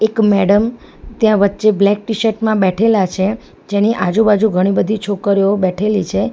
એક મેડમ ત્યાં વચ્ચે બ્લેક ટી_શર્ટ માં બેઠેલા છે જેની આજુબાજુ ઘણી બધી છોકરીઓ બેઠેલી છે.